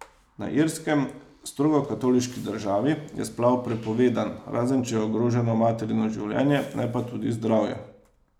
Na Irskem, strogo katoliški državi, je splav prepovedan, razen če je ogroženo materino življenje, ne pa tudi zdravje.